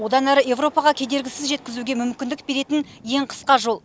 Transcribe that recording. одан әрі қарай еуропаға кедергісіз жеткізуге мүмкіндік беретін ең қысқа жол